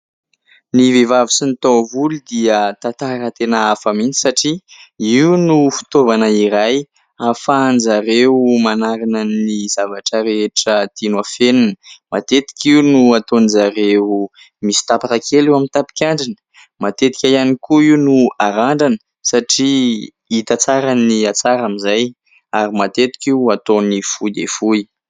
Ny vehivavy sy ny tahovolo dia tantara tena hafa mihitsy satria io no fitaovana iray ahafahan'izy ireo manarina ny zavatra rehetra tiany afenina matetika io no nataon'izy ireo misy tapaka kely eo amin'ny tapikandrina, matetika ihany koa io no arandrana satria hita tsara ny hatsara amin'izay, ary matetika io ataony fohy dia foy.